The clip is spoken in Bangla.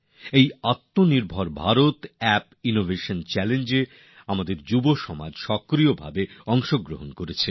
এই আত্মনির্ভর ভারত অ্যাপ ইনোভেশন চাল্লেঞ্জএ আমাদের তরুণরা বিপুল সংখ্যায় অংশ নিয়েছেন